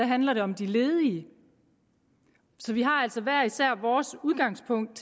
handler det om de ledige så vi har altså hver især vores udgangspunkt